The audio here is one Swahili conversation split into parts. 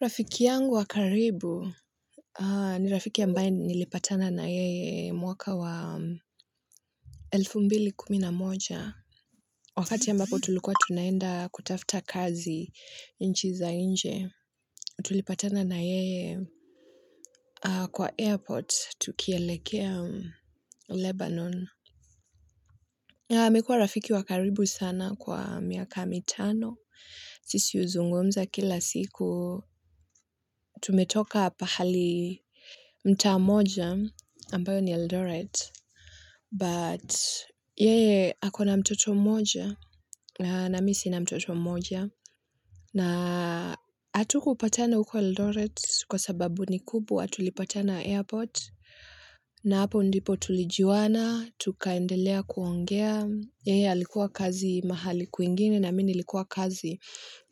Rafiki yangu wa karibu ni rafiki ambae nilipatana na yeye mwaka wa elfu mbili kumi na moja. Wakati ambapo tulikuwa tunaenda kutafta kazi nchi za nje, tulipatana na yeye kwa airport tukielekea Lebanon. Mekuwa rafiki wa karibu sana kwa miaka mitano, sisi uzungumza kila siku, tumetoka pahali mtaa moja, ambayo ni Eldoret, but yeye ako na mtoto mmoja, na mi sina mtoto mmoja, na atu kupatana ukwa Eldoret kwa sababu ni kubwa, tulipatana airport, na hapo ndipo tulijuwana, tukaendelea kuongea, Yeye likuwa kazi mahali kwingine na mini likuwa kazi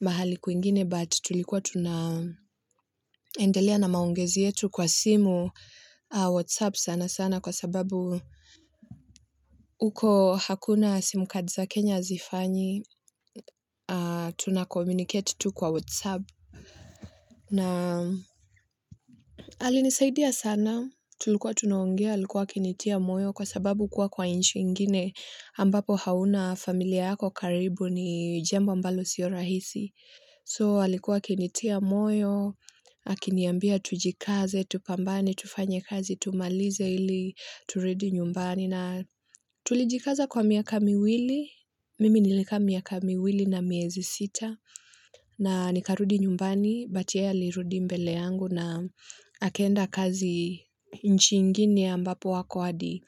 mahali kwingine but tulikuwa tunaendelea na maongezi yetu kwa simu Whatsapp sana sana kwa sababu uko hakuna simu cards za Kenya hazifanyi tuna communicate tu kwa Whatsapp na alinisaidia sana tulikuwa tunaongea alikuwa akinitia moyo kwa sababu kuwa kwa inchi ingine ambapo hauna familia yako karibu ni jambo ambalo sio rahisi. So alikuwa kinitia moyo, akiniambia tujikaze, tupambane, tufanye kazi, tumalize ili, turudi nyumbani na tulijikaza kwa miaka miwili, mimi nilikaa miaka miwili na miezi sita na nikarudi nyumbani, but yeye alirudi mbele yangu na akaenda kazi nchi ingine ambapo ako hadi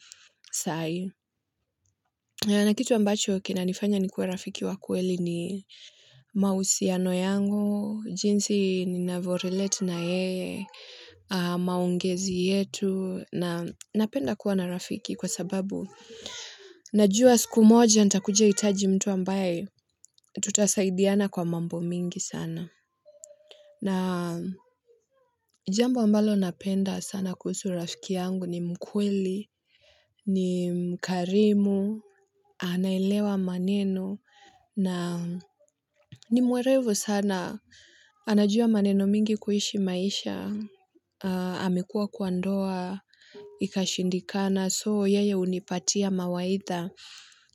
sai. Na kitu ambacho kinanifanya nikuwe rafiki wa kweli ni mahusiano yangu, jinsi ninavorelate na yeye, maongezi yetu, na napenda kuwa na rafiki kwa sababu na juwa siku moja nitakuja itaji mtu ambaye tutasaidiana kwa mambo mingi sana. Na jambo ambalo napenda sana kuhusu rafiki yangu ni mkweli, ni mkarimu, anaelewa maneno, na ni mwerevu sana. Anajua maneno mingi kuishi maisha, amekuwa kwa ndoa, ikashindikana, soo yeye unipatia mawaitha.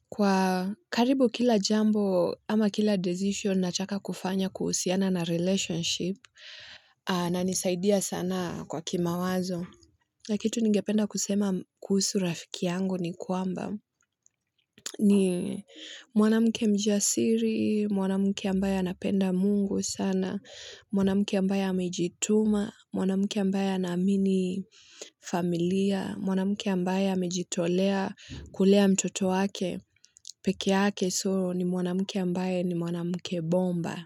Kwa karibu kila jambo ama kila decision nataka kufanya kuhusiana na relationship anisaidia sana kwa kimawazo. Na kitu ningependa kusema kuhusu rafiki yangu ni kwamba ni mwanamuke mjasiri, mwanamuke ambaye anapenda mungu sana, mwanamuke ambaye amejituma, mwanamuke ambaye anaamini familia, mwanamuke ambaye amejitolea kulea mtoto wake, peke yake so ni mwanamuke ambaye ni mwanamuke bomba.